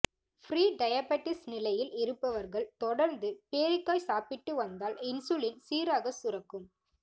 pre diabetes நிலையில் இருப்பவர்கள் தொடர்ந்து பேரிக்காய் சாப்பிட்டு வந்தால் இன்சுலின் சீராகச் சுரக்கும்